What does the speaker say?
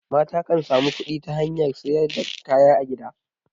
mata kan samu kudi ta Saida kaya a gida